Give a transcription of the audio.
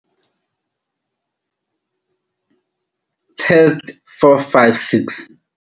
Test 456.